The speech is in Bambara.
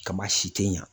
Kama si te ɲa